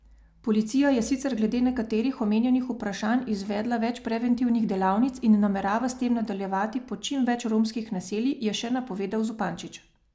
Policija je sicer glede nekaterih omenjenih vprašanj izvedla več preventivnih delavnic in namerava s temi nadaljevati po čim več romskih naseljih, je še napovedal Zupančič.